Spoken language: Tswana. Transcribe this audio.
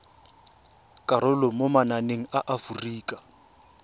karolo mo mananeng a aforika